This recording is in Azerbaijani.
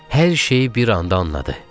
Hər şeyi bir anda anladı.